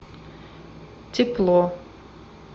тепло